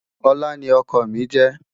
olá ní ókó mí je